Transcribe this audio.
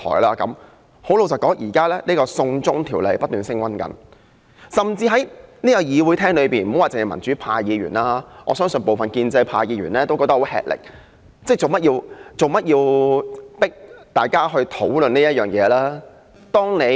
老實說，現時"送中條例"不斷升溫，在會議廳內不單是民主派議員，我相信部分建制派議員都感到吃力，質疑為何要迫大家討論這件事。